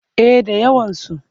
Eh da yawansu.